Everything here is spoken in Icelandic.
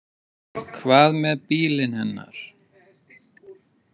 Hvað með bílinn hennar?